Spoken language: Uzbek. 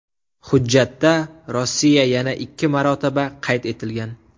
Hujjatda Rossiya yana ikki marotaba qayd etilgan.